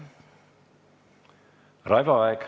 Raivo Aeg.